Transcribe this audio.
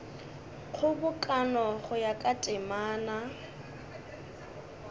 kgobokano go ya ka temana